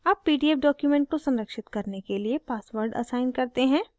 अब pdf document को संरक्षित करने के लिए password असाइन करते हैं